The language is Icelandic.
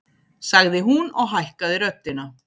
sagði hún og hækkaði röddina.